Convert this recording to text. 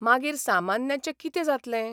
मागीर सामान्यांचें कितें जातलें?